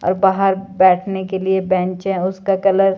और बाहर बैठने के लिए बेंच है उसका कलर --